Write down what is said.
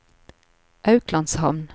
Auklandshamn